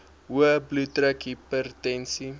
hoë bloeddruk hipertensie